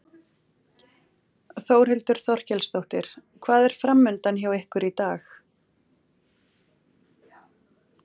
Þórhildur Þorkelsdóttir: Hvað er framundan hjá ykkur í dag?